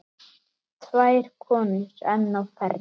Tvær konur enn á ferð.